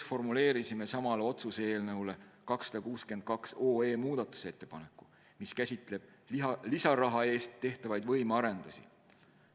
Me formuleerisime sama otsuse eelnõu 262 muutmiseks ka ettepaneku, mis käsitleb lisaraha eest tehtavaid võimearendusi.